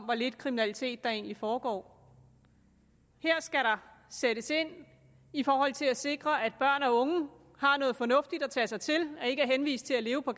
hvor lidt kriminalitet der egentlig foregår her skal der sættes ind i forhold til at sikre at børn og unge har noget fornuftigt at tage sig til og ikke er henvist til at leve på